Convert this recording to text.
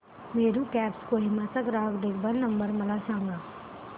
Meru cabs Kohima चा ग्राहक देखभाल नंबर मला सांगा